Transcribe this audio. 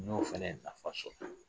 N'o fɛnɛ ka fa so